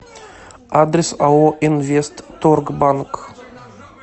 адрес ао инвестторгбанк